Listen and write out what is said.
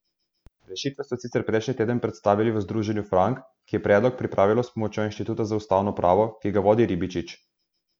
Rešitve so sicer prejšnji teden predstavili v Združenju Frank, ki je predlog pripravilo s pomočjo Inštituta za ustavno pravo, ki ga vodi Ribičič.